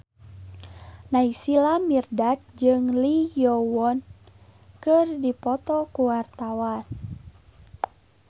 Naysila Mirdad jeung Lee Yo Won keur dipoto ku wartawan